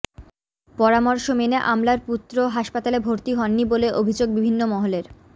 পরামর্শ মেনে আমলার পুত্র হাসপাতালে ভর্তি হননি বলে অভিযোগ বিভিন্ন মহলের